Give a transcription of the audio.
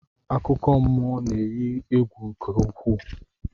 Akụkọmmụọ na-eyi egwu nke ukwuu